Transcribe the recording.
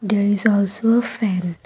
there is also a fan.